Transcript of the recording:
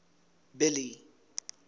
billy